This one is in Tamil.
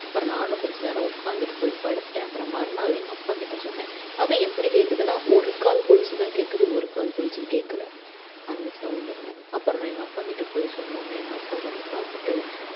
அப்பறம் நானும் கொஞ்ச நேரம் உக்காந்துட்டு போயி படுத்துட்டேன் அப்பறம் மறுநாள் எங்க அப்பாக்கிட்ட சொன்னேன் அதும் எப்படி கேக்குதுன்னா ஒரு கால் கொலுசு தான் கேக்குது ஒரு கால் கொலுசு கேக்கல அந்த sound உ அப்பறம் நான் எங்க அப்பா கிட்ட போயி சொன்ன உடனே எங்க அப்பா வந்து பாத்துட்டு